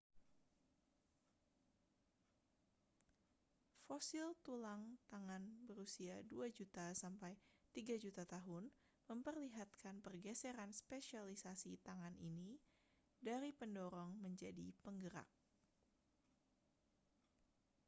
fosil tulang tangan berusia 2 juta sampai 3 juta tahun memperlihatkan pergeseran spesialisasi tangan ini dari pendorong menjadi penggerak